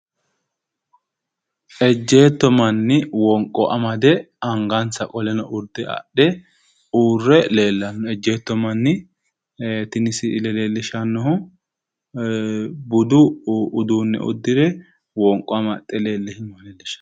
Ejjetto manni wonqo amade angansa qoleno urde adhe uurre leellanno. Ejjeetto manni tini siile leellishshannohu budu uduunne uddire wonqo amaxxe leellannoha leellishshanno.